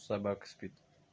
собака спит